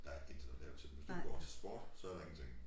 Der intet at lave til dem hvis du ikke går til sport så er der ingenting